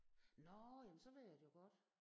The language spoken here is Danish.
Nåh jamen så ved jeg det jo godt